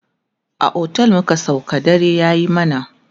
a otel muka sauka dare yayi mana